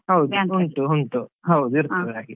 ಹೌದು ಉಂಟು ಉಂಟು ಹೌದು ಇರ್ತದೆ ಹಾಗೆ.